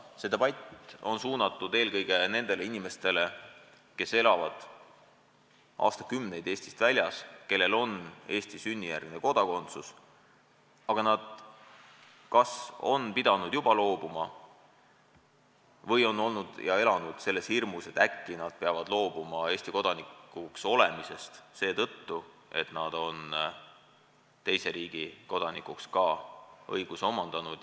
See debatt on suunatud eelkõige nendele inimestele, kes on aastakümneid elanud Eestist väljas, kellel on sünnijärgne Eesti kodakondsus, aga nad kas on pidanud sellest juba loobuma või on elanud selles hirmus, et äkki nad peavad loobuma Eesti kodanikuks olemisest seetõttu, et nad on omandanud õiguse olla ka teise riigi kodanik.